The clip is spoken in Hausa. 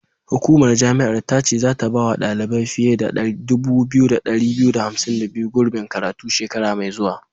Hukumar jami'ar ta ce zata bawa ɗalibai fiye da 2252, gurbin karatu shekara mai zuwa.